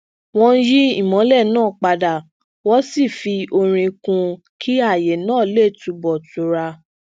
wón yí imọlẹ naa padà wón sì fi orin kún un kí aaye naa le tunbọ tura